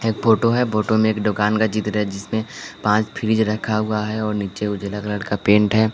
एक फोटो है फोटो में एक दुकान का चित्र जिसमें पांच फ्रिज रखा हुआ है और नीचे उजला कलर का पेंट है।